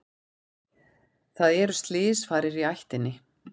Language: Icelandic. Það eru slysfarir í ættinni.